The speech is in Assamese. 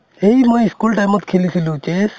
সেই মই school time অত খেলিছিলো